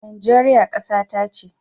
Najeriya kasata ce.